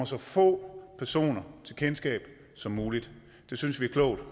så få personers kendskab som muligt det synes vi er klogt